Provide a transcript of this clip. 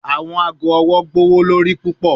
Awọn aago ọwọ jẹ gbowolori pupọ